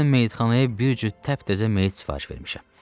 Mən meyitxanaya bir cüt təptəzə meyit sifariş vermişəm.